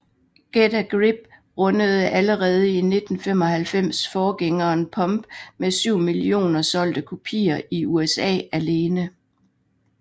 Get a Grip rundede allerede i 1995 forgængeren Pump med 7 millioner solgte kopier i USA alene